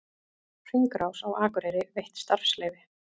Hringrás á Akureyri veitt starfsleyfi